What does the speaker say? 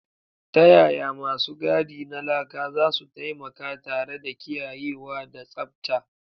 Ta yaya masu gadi na laka zasu taimaka tare da kiyayewa da tsabta?